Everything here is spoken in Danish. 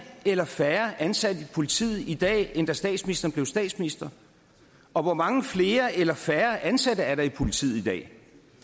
eller færre ansatte i politiet i dag end da statsministeren blev statsminister og hvor mange flere eller færre ansatte er der i politiet i dag